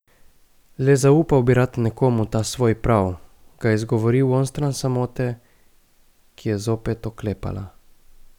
Le zaupal bi rad nekomu ta svoj prav, ga izgovoril onstran samote, ki je zopet oklepala.